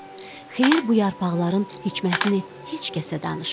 Xeyir bu yarpaqların hikmətini heç kəsə danışmadı.